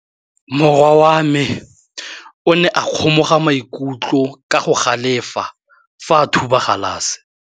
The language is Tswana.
Morwa wa me o ne a kgomoga maikutlo ka go galefa fa a thuba galase.